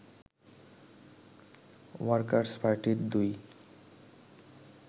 workers পার্টির ২